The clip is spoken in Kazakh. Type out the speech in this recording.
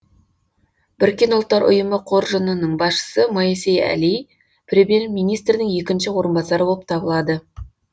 біріккен ұлттар ұйымы қоржынының басшысы моисей әли премьер министрдің екінші орынбасары болып табылады